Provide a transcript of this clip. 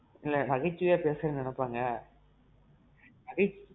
இல்ல நகைச்சுவையா பேசுற நெனப்பாங்க? அது.